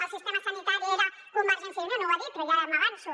el sistema sanitari era convergència i unió no ho ha dit però ja m’avanço